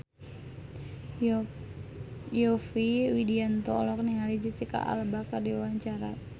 Yovie Widianto olohok ningali Jesicca Alba keur diwawancara